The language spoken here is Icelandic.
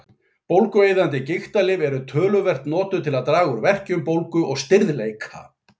Bólgueyðandi gigtarlyf eru töluvert notuð til að draga úr verkjum, bólgu og stirðleika.